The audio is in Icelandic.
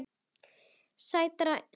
Sætra synda.